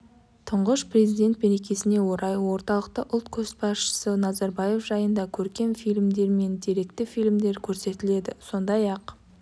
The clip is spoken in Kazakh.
тұңғыш президент мерекесіне орай орталықта ұлт көшбасшысы назарбаев жайында көркем фильмдер мен деректі фильмдер көрсетіледі сондай-ақ